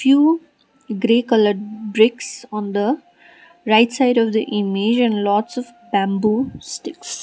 few grey coloured bricks on the right side of the image and lots of bamboo sticks.